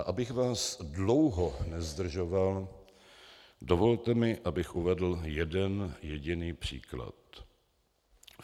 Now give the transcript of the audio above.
A abych vás dlouho nezdržoval, dovolte mi, abych uvedl jeden jediný příklad.